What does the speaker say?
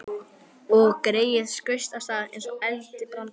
Og greyið skaust af stað eins og eldibrandur.